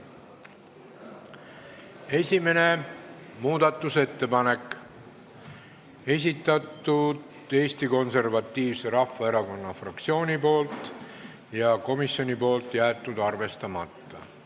Esimese muudatusettepaneku on esitanud Eesti Konservatiivne Rahvaerakonna fraktsioon, komisjon on jätnud arvestamata.